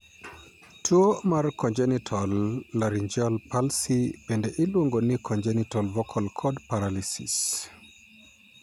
Tuwo mar congenital laryngeal palsy bende iluongo ni congenital vocal cord paralysis.